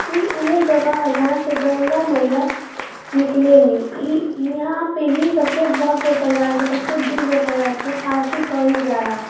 ई उहे जगह है जहां से गंगा मैया निकलेनी । ई ईहाँ पे ही सबसे भव्य प्रकार के सबसे दिव्य प्रकार के आरती कईल जाला।